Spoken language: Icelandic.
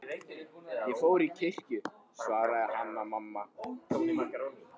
Ég fór í kirkju, svaraði Hanna-Mamma.